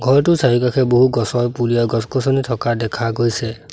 ঘৰটোৰ চাৰিওকাষে বহু গছৰ পুলি আৰু-গছ গছনি থকা দেখা গৈছে।